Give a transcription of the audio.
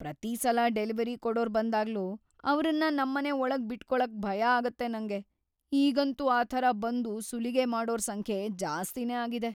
ಪ್ರತೀ ಸಲ ಡೆಲಿವರಿ ಕೊಡೋರ್ ಬಂದಾಗ್ಲೂ ಅವ್ರನ್ನ ನಮ್ಮನೆ ಒಳಗ್ ಬಿಟ್ಕೊಳಕ್ಕೆ ಭಯ ಆಗತ್ತ್ ನಂಗೆ, ಈಗಂತೂ ಆ ಥರ ಬಂದು ಸುಲಿಗೆ ಮಾಡೋರ್‌ ಸಂಖ್ಯೆ ಜಾಸ್ತಿನೇ ಆಗಿದೆ.